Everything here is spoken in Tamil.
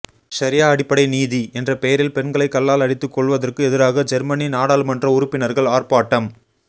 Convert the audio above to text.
ஷரியா அடிப்படை நீதி என்ற பெயரில் பெண்களைக் கல்லால் அடித்துக் கொல்வதற்கு எதிராக ஜெர்மனி நாடாளுமன்ற உறுப்பினர்கள் ஆர்ப்பாட்டம்